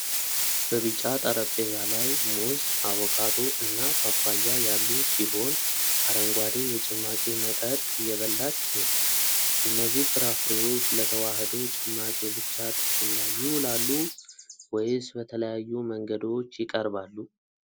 በቢጫ ጠረጴዛ ላይ ሙዝ፣ አቮካዶ እና ፓፓያ ያሉ ሲሆን አረንጓዴ የጭማቂ መጠጥ እየበላች ነው። እነዚህ ፍራፍሬዎች ለተዋሕዶ ጭማቂ ብቻ ጥቅም ላይ ይውላሉ ወይስ በተለያዩ መንገዶች ይቀርባሉ?